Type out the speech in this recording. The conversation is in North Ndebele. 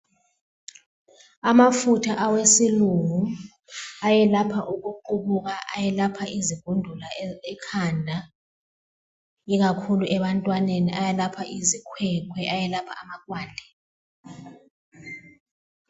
Amafutha awesilungu ayelapha ukuqubuka, ayelapha izigundula ekhanda ikakhulu ebantwaneni, ayelapha izikhwekhwe, ayelapha amakwande